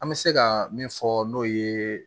An bɛ se ka min fɔ n'o ye